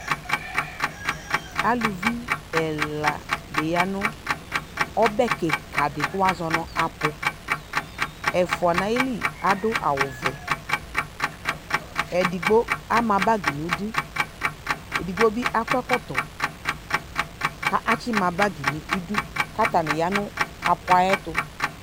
Aluvi ɛladɩ ya nʋ ɔbɛ kɩkadɩ kʋ wʋazɔ nʋ apʋ Ɛfʋa n'ayili adʋ awʋvɛ, edigbo ama bagɩ n'idu , edigbo bɩ akɔ ɛkɔtɔ , ka atsɩma bagɩ n'idu ; k'atabɩ ya nʋ apʋa yɛtʋ